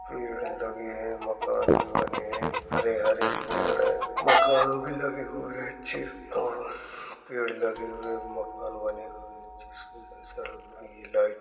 पेड़ लगे हैं। मकान बने हुए है हरे हरे पेड़ है मकानों भी लगे हुए है चिर तारा पेड़ लगे हुए है मकान बने हुए है ऐसे सड़क में लाइट --